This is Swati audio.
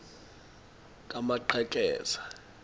kamaqhekeza